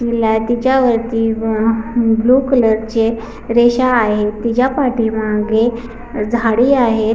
तिला तिच्या वरती अ म ह ब्लू कलरचे रेषा आहेत तिच्या पाठी मागे झाडी आहेत.